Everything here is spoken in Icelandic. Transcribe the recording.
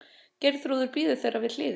Geirþrúður bíður þeirra við hliðið.